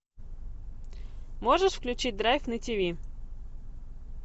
можешь включить драйв на тиви